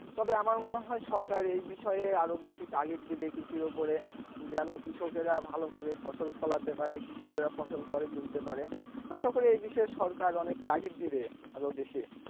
তবে আমার মনে হয় সরকার এ বিষয়ে আরো বেশি তাগিদ দিবে এ বিষয়ে যেন কৃষকেরা ভালো ভাবে ফসল ফলাতে পারে কৃষকেরা ফসল ঘরে তুলতে পারে আশা করি এ বিষয়ে সরকার অনেক তাগিদ দিবে আরো বেশি।